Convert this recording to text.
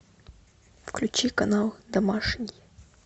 включи канал домашний